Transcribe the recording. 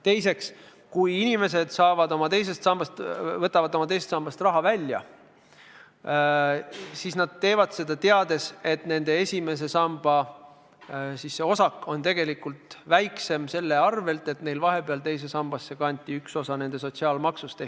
Teiseks, kui inimesed võtavad teisest sambast raha välja, siis teevad nad seda teades, et nende esimese samba osa on tegelikult väiksem, sest üks osa nende sotsiaalmaksust kanti vahepeal teise sambasse.